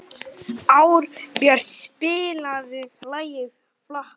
Árbjört, spilaðu lagið „Flakkarinn“.